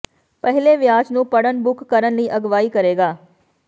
ਪਹਿਲੇ ਵਿਆਜ ਨੂੰ ਪੜ੍ਹਨ ਬੁੱਕ ਕਰਨ ਲਈ ਅਗਵਾਈ ਕਰੇਗਾ